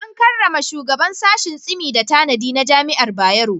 An karrama shugaban sashin Tsimi da tanadi na Jami'ar Bayero.